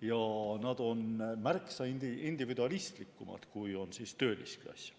ja nad olid märksa individualistlikumad, kui on töölisklass.